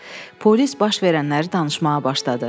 Polis baş verənləri danışmağa başladı.